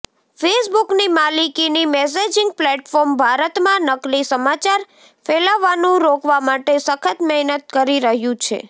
ફેસબુકની માલિકીની messaging platform ભારતમાં નકલી સમાચાર ફેલાવવાનું રોકવા માટે સખત મહેનત કરી રહ્યું છે